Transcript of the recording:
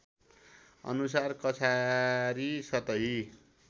अनुसार कछारी सतही